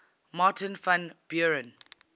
martin van buren